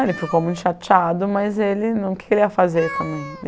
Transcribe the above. Ele ficou muito chateado, mas ele não queria fazer também.